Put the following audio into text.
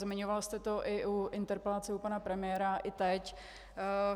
Zmiňoval jste to i u interpelace u pana premiéra i teď.